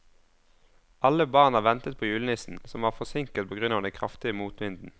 Alle barna ventet på julenissen, som var forsinket på grunn av den kraftige motvinden.